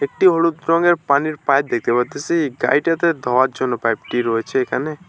একটি হলুদ রঙের পানির পাইপ দেখতে পারতেসি গাড়িটাতে ধোয়ার জন্য পাইপ -টি রয়েছে এইখানে।